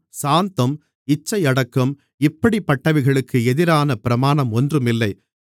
சாந்தம் இச்சையடக்கம் இப்படிப்பட்டவைகளுக்கு எதிரான பிரமாணம் ஒன்றும் இல்லை